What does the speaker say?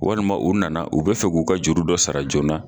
Walima u nana u be fɛ k'u ka juru dɔ sara joona